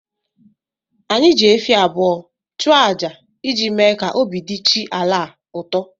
Anyị ji efi abụọ chụa aja iji mee ka obi dị chi ala a ụtọ